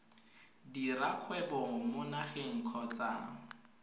dira kgwebo mo nageng kgotsa